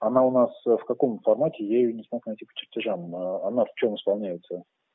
она у нас в каком формате я её не смог найти по чертежам она в чем исполняется